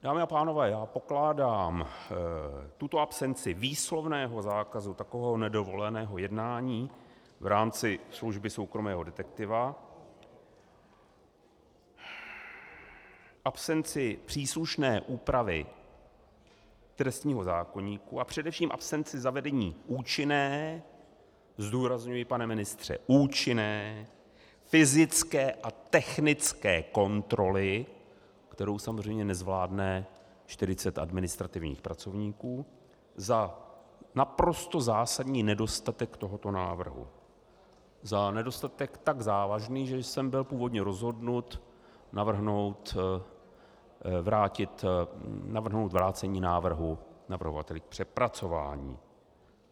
Dámy a pánové, já pokládám tuto absenci výslovného zákazu takového nedovoleného jednání v rámci služby soukromého detektiva, absenci příslušné úpravy trestního zákoníku a především absenci zavedení účinné - zdůrazňuji, pane ministře, účinné - fyzické a technické kontroly, kterou samozřejmě nezvládne 40 administrativních pracovníků, za naprosto zásadní nedostatek tohoto návrhu, za nedostatek tak závažný, že jsem byl původně rozhodnut navrhnout vrácení návrhu navrhovateli k přepracování.